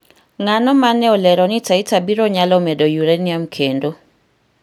ng'ano mane olero ni Taita biro nyalo medo yuranium kendo